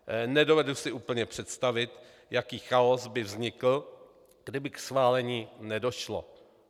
Nedovedu si úplně představit, jaký chaos by vznikl, kdyby k schválení nedošlo.